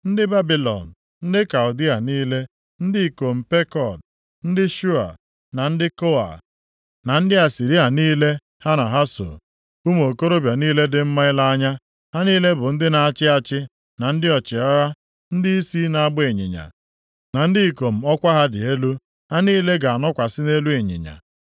Ndị Babilọn, ndị Kaldịa niile, ndị ikom Pekod, ndị Shoa, na ndị Koa, na ndị Asịrịa niile ha na ha soo. Ụmụ okorobịa niile dị mma ile anya, ha niile bụ ndị na-achị achị na ndị ọchịagha, ndịisi na-agba ịnyịnya, na ndị ikom ọkwa ha dị elu, ha niile ga-anọkwasị nʼelu ịnyịnya.